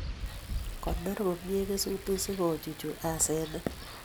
Konor komye kesutik si kochuchu asenet